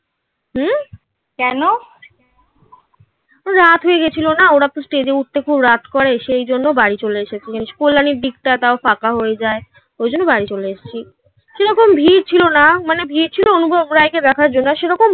কেন? রাত হয়ে গেছিল না. ওরা তো stage এ উঠতে খুব রাত করে সেই জন্য বাড়ি চলে এসেছি কল্যাণীর দিকটা তাও ফাঁকা হয়ে যায় ওই জন্য বাড়ি চলে এসছি। সেরকম ভিড় ছিল না. মানে ভিড় ছিল অনুভব রায়কে দেখার জন্য.